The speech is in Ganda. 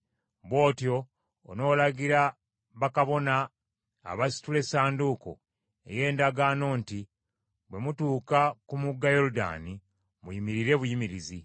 Bw’otyo onoolagira bakabona abasitula Essanduuko ey’Endagaano nti bwe mutuuka ku mugga Yoludaani, muyimirire buyimirizi.”